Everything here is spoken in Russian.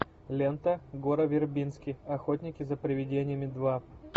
лента гора вербински охотники за привидениями два